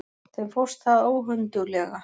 Þeim fórst það óhönduglega.